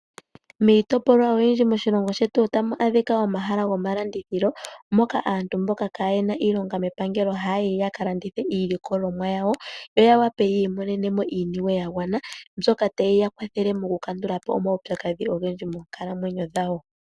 Miitopolwa oyindji moshilongo shetu otamu adhika omahala gomalandithilo, moka aantu mboka kaa ye na iilonga mepangelo haa yi ya ka landithe iilikolomwa yawo, yo ya wape yi imonene mo iiniwe ya gwana, mbyoka taye yi kwathele mokukandula po omaupyakadhi ogendji moonkalamwenyo dhawo.